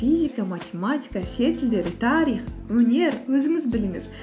физика математика шет тілдері тарих өнер өзіңіз біліңіз